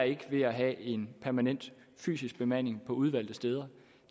ikke er ved at have en permanent fysisk bemanding på udvalgte steder